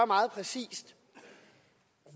meget præcist